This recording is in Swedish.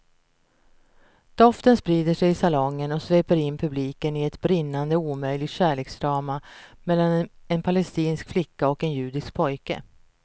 Doften sprider sig i salongen och sveper in publiken i ett brinnande omöjligt kärleksdrama mellan en palestinsk flicka och en judisk pojke.